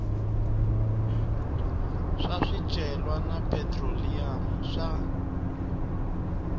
swa swicelwa na phetroliyamu swa